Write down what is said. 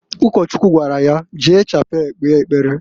Ụkọchukwu gwara ya, "Jee Chapel kpee ekpere!"